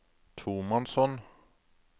tomannshånd